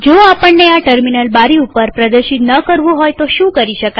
જો આપણને આ ટર્મિનલ બારી ઉપર પ્રદર્શિત ન કરવું હોય તો શું કરી શકાય